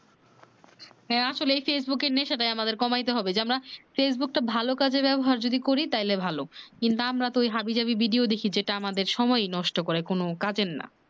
হ্যাঁ আসলেই ফেসবুক এর নেশাটা আমাদের কমাইতে হবে যে আমারা ফেসবুক টা ভালো কাজে ব্যবহার যদি করি তাইলে ভালো কিন্তু আমরা তো হাবি যাবি ভিডিও দেখি যেটা আমাদের সময়ি নষ্ট করে কোন কাজের না